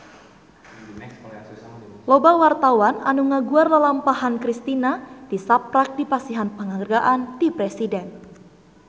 Loba wartawan anu ngaguar lalampahan Kristina tisaprak dipasihan panghargaan ti Presiden